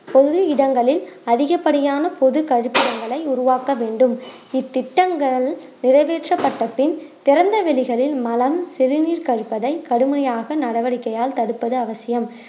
பொது இடங்களில் அதிகப்படியான பொது கழிப்பிடங்களை உருவாக்க வேண்டும் இத்திட்டங்கள் நிறைவேற்றப்பட்ட பின் திறந்தவெளிகளில் மலம் சிறுநீர் கழிப்பதை கடுமையாக நடவடிக்கையால் தடுப்பது அவசியம்